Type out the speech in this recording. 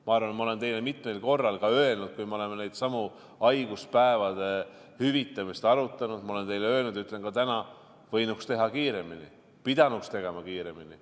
Ma arvan, ma olen teile mitmel korral öelnud, kui me oleme neidsamu haiguspäevade hüvitamisi arutanud ja ma olen teile öelnud ja ütlen ka täna – võinuks teha kiiremini, pidanuks tegema kiiremini.